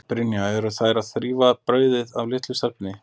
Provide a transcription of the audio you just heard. Brynja Þorgeirsdóttir: Eru þær að rífa brauðið af litlu stelpunni?